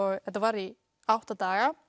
þetta var í átta daga